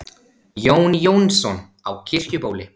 Jón Jónsson á Kirkjubóli